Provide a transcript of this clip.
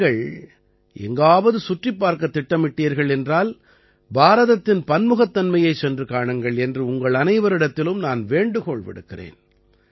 நீங்கள் எங்காவது சுற்றிப் பார்க்கத் திட்டமிட்டீர்கள் என்றால் பாரதத்தின் பன்முகத்தன்மையைச் சென்று காணுங்கள் என்று உங்கள் அனைவரிடத்திலும் நான் வேண்டுகோள் விடுக்கிறேன்